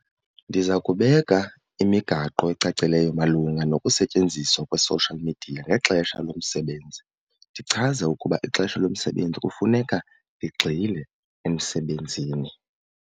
Ndiza kubeka imigaqo ecacileyo malunga nokusetyenziswa kwe-social media ngexesha lomsebenzi, ndichaze ukuba ixesha lomsebenzi kufuneka ndigxile emsebenzini.